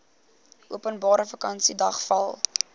openbare vakansiedag val